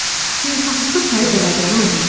Xeyirxahlıqla tayı bərabəri olmazdı.